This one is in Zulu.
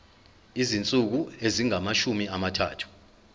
izinsuku ezingamashumi amathathu